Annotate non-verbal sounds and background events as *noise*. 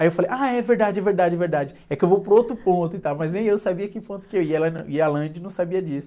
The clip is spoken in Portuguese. Aí eu falei, ah, é verdade, é verdade, é verdade, é que eu vou para outro ponto e tal, mas nem eu sabia que ponto que eu ia, e ela, *unintelligible* e a *unintelligible* não sabia disso.